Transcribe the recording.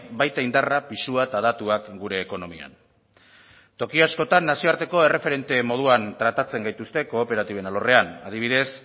baita indarra pisua eta datuak gure ekonomian toki askotan nazioarteko erreferente moduan tratatzen gaituzte kooperatiben alorrean adibidez